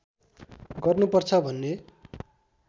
गर्नुपर्छ भन्ने